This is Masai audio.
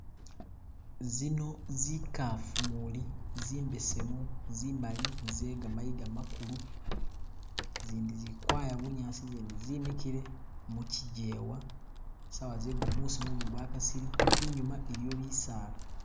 Zino zikafu umuli zimbesemu, zimali, zegamayiga magulu zindi zikwaya bunyaasi zindi ze mikile mukigewa saawa zegumuusi mumu gwa kasile, inyuma iliyo bisaala.